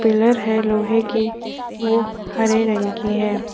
Pillar है लोहे की वो हरे रंग की है।